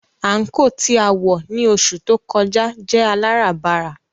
Àńkò tí a wọ̀ ní oṣù tó kọjá jẹ́ aláràbarà